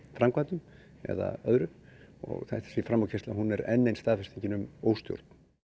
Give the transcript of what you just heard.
framkvæmdum eða öðru og þessi framúrkeyrsla er enn ein staðfestingin um óstjórn